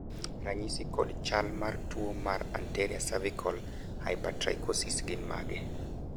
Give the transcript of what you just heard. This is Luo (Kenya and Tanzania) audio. ranyisi kod chal mar tuo mar anterior cervical hypertrichosis gin mage?